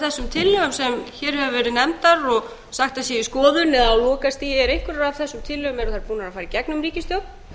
þessum tillögum sem hér hafa verið nefndar og sagt að séu í skoðun eða á lokastigi búnar að fara í gegnum ríkisstjórn